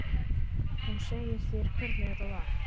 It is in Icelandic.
Hún segir þér hvernig þetta var.